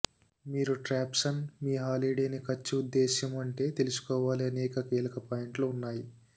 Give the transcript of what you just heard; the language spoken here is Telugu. మీరు ట్ర్యాబ్సన్ మీ హాలిడేని ఖర్చు ఉద్దేశ్యము ఉంటే తెలుసుకోవాలి అనేక కీలక పాయింట్లు ఉన్నాయి